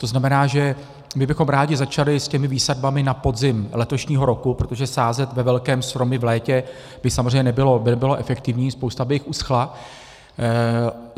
To znamená, že my bychom rádi začali s těmi výsadbami na podzim letošního roku, protože sázet ve velkém stromy v létě by samozřejmě nebylo efektivní, spousta by jich uschla.